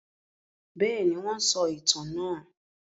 Bẹ́ẹ̀ni, wọ́n sọ ìtàn náà.